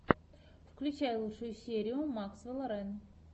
включай лучшую серию максвелла рэн